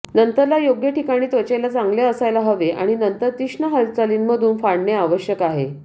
नंतरला योग्य ठिकाणी त्वचेला चांगले असायला हवे आणि नंतर तीक्ष्ण हालचालींमधून फाडणे आवश्यक आहे